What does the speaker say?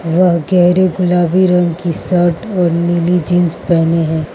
वह गहरे गुलाबी रंग की शर्ट और नीली जींस पहने है।